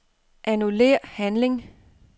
Annullér handling.